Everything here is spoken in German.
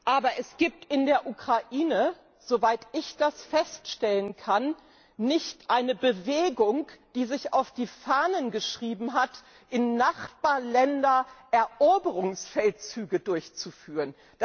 Aber es gibt in der Ukraine, soweit ich das feststellen kann, nicht eine Bewegung, die sich auf die Fahnen geschrieben hat, in Nachbarländern Eroberungsfeldzüge durchzuführen.